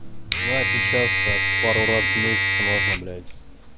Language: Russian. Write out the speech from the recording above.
ну а сейчас так пару раз в месяц можно блять